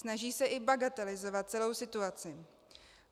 Snaží se i bagatelizovat celou situaci.